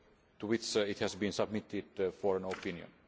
to which it has been submitted for an opinion.